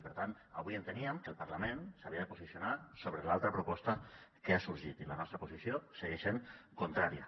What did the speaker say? i per tant avui enteníem que el parlament s’havia de posicionar sobre l’altra proposta que ha sorgit i la nostra posició segueix sent contrària